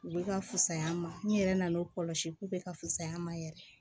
U bɛ ka fisaya an ma n yɛrɛ nana o kɔlɔsi k'u bɛ ka fusa an ma yɛrɛ